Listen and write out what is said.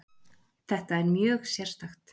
Þetta er mjög sérstakt